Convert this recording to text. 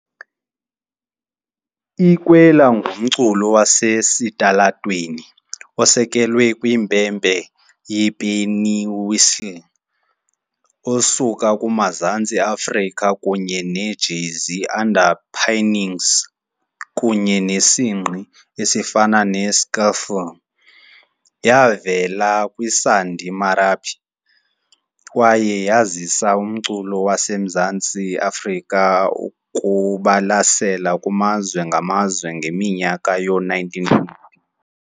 I- Kwela ngumculo wasesitalatweni osekelwe kwimpempe yepennywhistle osuka kumazantsi e-Afrika kunye ne-jazzy underpinnings kunye nesingqi esifana ne- skiffle . Yavela kwisandi marabi kwaye yazisa umculo waseMzantsi Afrika ukubalasela kumazwe ngamazwe ngeminyaka yoo-19